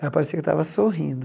Ela parecia que estava sorrindo.